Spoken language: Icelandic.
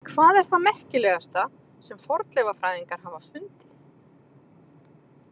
Hvað er það merkilegasta sem fornleifafræðingar hafa fundið?